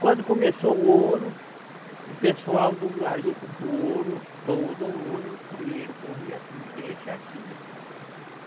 Quando começou o ouro, o pessoal do garimpo, do ouro, todo mundo, o dinheiro corria aqui, deixa aqui.